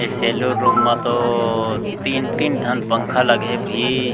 ए saloon म तो तीन-तीन ठन पंखा लगे हे भई--